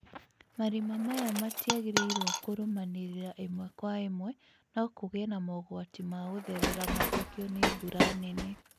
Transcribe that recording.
Marima maya matiagĩrĩirwo kũrũmanĩrĩra ĩmwe kwa ĩmwe no kũgĩe na mogwati ma gũtherera mathũkio nĩ mbura nene